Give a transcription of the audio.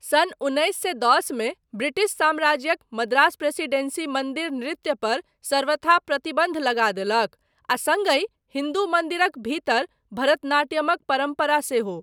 सन् उन्नैस सए दस मे ब्रिटिश साम्राज्यक मद्रास प्रेसिडेन्सी मन्दिर नृत्य पर सर्वथा प्रतिबन्ध लगा देलक, आ सङ्गहि हिन्दू मन्दिरक भीतर भरतनाट्यमक परम्परा सेहो।